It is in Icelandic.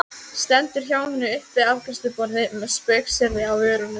Stendur hjá henni upp við afgreiðsluborðið með spaugsyrði á vörunum.